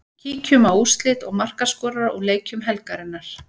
Kíkjum á úrslit og markaskorara úr leikjum helgarinnar.